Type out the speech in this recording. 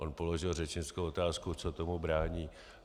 On položil řečnickou otázku, co tomu brání.